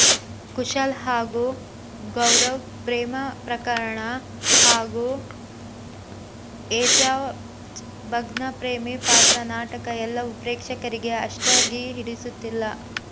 ಕುಶಾಲ್ ಹಾಗೂ ಗೌಹರ್ ಪ್ರೇಮ ಪ್ರಕರಣ ಹಾಗೂ ಏಜಾಜ್ ಭಗ್ನ ಪ್ರೇಮಿ ಪಾತ್ರ ನಾಟಕ ಎಲ್ಲವೂ ಪ್ರೇಕ್ಷಕರಿಗೆ ಅಷ್ಟಾಗಿ ಹಿಡಿಸುತ್ತಿಲ್ಲ